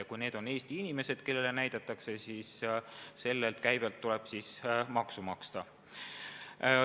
Ja kui need on Eesti inimesed, kellele näidatakse, siis sellelt käibelt tuleb maksu maksta.